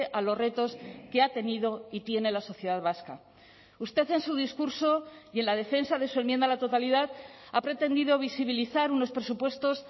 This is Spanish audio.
a los retos que ha tenido y tiene la sociedad vasca usted en su discurso y en la defensa de su enmienda a la totalidad ha pretendido visibilizar unos presupuestos